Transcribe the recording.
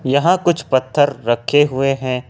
यहां कुछ पत्थर रखे हुए हैं।